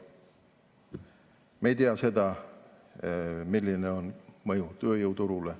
Me ei tea, milline on mõju tööjõuturule.